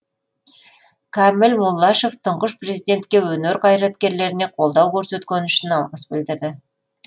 кәміл муллашев тұңғыш президентке өнер қайраткерлеріне қолдау көрсеткені үшін алғыс білдірді